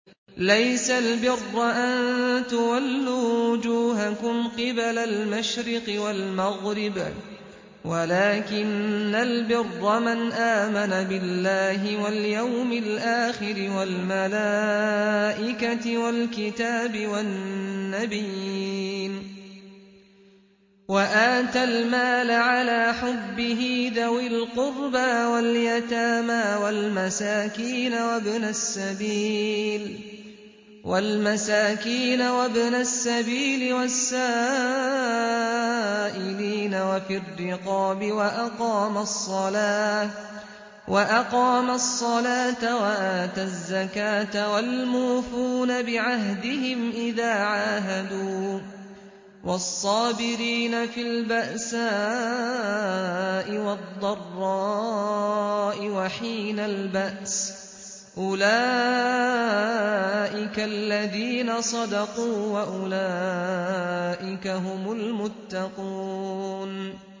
۞ لَّيْسَ الْبِرَّ أَن تُوَلُّوا وُجُوهَكُمْ قِبَلَ الْمَشْرِقِ وَالْمَغْرِبِ وَلَٰكِنَّ الْبِرَّ مَنْ آمَنَ بِاللَّهِ وَالْيَوْمِ الْآخِرِ وَالْمَلَائِكَةِ وَالْكِتَابِ وَالنَّبِيِّينَ وَآتَى الْمَالَ عَلَىٰ حُبِّهِ ذَوِي الْقُرْبَىٰ وَالْيَتَامَىٰ وَالْمَسَاكِينَ وَابْنَ السَّبِيلِ وَالسَّائِلِينَ وَفِي الرِّقَابِ وَأَقَامَ الصَّلَاةَ وَآتَى الزَّكَاةَ وَالْمُوفُونَ بِعَهْدِهِمْ إِذَا عَاهَدُوا ۖ وَالصَّابِرِينَ فِي الْبَأْسَاءِ وَالضَّرَّاءِ وَحِينَ الْبَأْسِ ۗ أُولَٰئِكَ الَّذِينَ صَدَقُوا ۖ وَأُولَٰئِكَ هُمُ الْمُتَّقُونَ